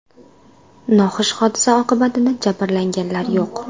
Noxush hodisa oqibatida jabrlanganlar yo‘q.